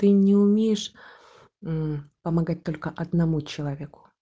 ты не умеешь мм помогать только одному человеку